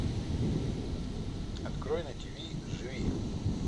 открой на тиви живи